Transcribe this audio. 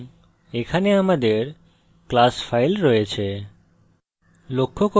এবং এখানে আমাদের class file রয়েছে